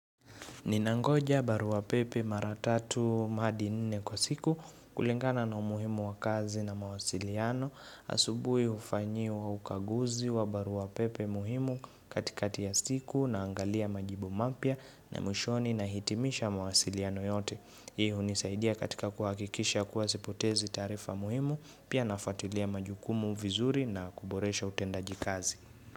Ninangoja barua pepe mara tatu hadi nne kwa siku kulingana na umuhimu wa kazi na mawasiliano. Asubui ufanyiwa ukaguzi wa barua pepe muhimu katikati ya siku naangalia majibu mapya na mwishoni nahitimisha mawasiliano yote. Hii hunisaidia katika kuhakikisha kuwa sipotezi taarifa muhimu pia nafatilia majukumu vizuri na kuboresha utendaji kazi.